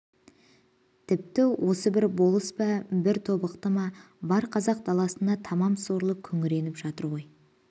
тіпті осы бір болыс па бір тобықты ма бар қазақ даласында тамам сорлы күңіреніп жатыр ғой